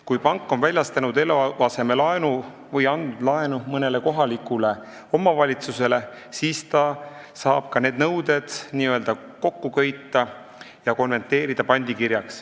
Kui pank on väljastanud eluasemelaenu või andnud laenu mõnele kohalikule omavalitsusele, siis ta saab need nõuded n-ö kokku köita ja pandikirjaks konverteerida.